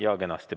Jaa, kenasti.